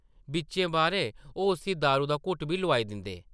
बिच्चें-बारें ओह् उस्सी दारू दा घुट्ट बी लोआई दिंदे ।